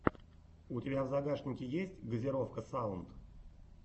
у тебя в загашнике есть газировка саунд